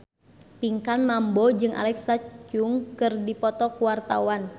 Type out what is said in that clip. Pinkan Mambo jeung Alexa Chung keur dipoto ku wartawan